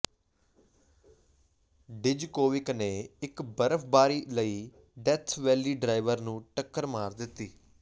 Djokovic ਨੇ ਇੱਕ ਬਰਫਬਾਰੀ ਲਈ ਡੈਥ ਵੈਲੀ ਡਰਾਈਵਰ ਨੂੰ ਟੱਕਰ ਮਾਰ ਦਿੱਤੀ